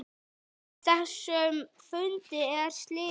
Þessum fundi er slitið.